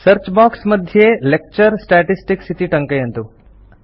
search box मध्ये lecture statistics इति टङ्कयन्तु